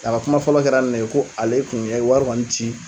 A ka kuma fɔlɔ kɛra ni ne ye ko ale kɔni ye wari kɔni ci